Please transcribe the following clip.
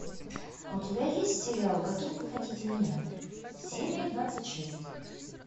у тебя есть сериал каким вы хотите меня серия двадцать шесть